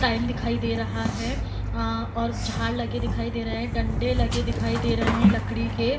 Time दिखाई दे रहा है | अ और झाड़ लगे दिखाई दे रहा है | डंडे लगे दिखाई दे रहे हैं लकड़ी के ।